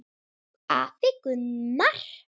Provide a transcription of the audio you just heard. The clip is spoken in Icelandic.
Afi Gunnar.